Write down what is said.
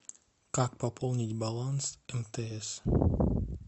как пополнить баланс мтс